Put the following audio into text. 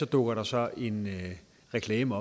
dukker der så en reklame